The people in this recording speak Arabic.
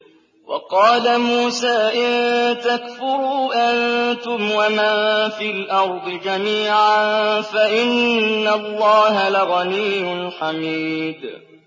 وَقَالَ مُوسَىٰ إِن تَكْفُرُوا أَنتُمْ وَمَن فِي الْأَرْضِ جَمِيعًا فَإِنَّ اللَّهَ لَغَنِيٌّ حَمِيدٌ